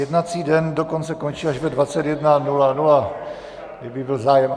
Jednací den dokonce končí až ve 21.00, kdyby byl zájem.